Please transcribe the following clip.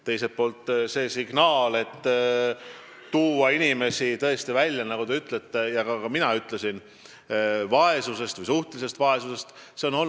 Teiselt poolt on see signaal, et tuua inimesi tõesti vaesusest või suhtelisest vaesusest välja, nagu te ütlete ja ka mina ütlesin, tulnud just ettevõtluskeskkonna esindajatelt, ettevõtjatelt.